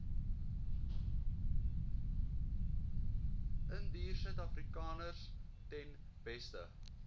indiërsuidafrikaners ten beste